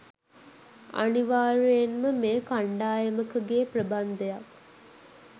අනිවාර්යයෙන්ම මෙය කණ්ඩායමකගේ ප්‍රබන්ධයක්